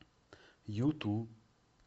юту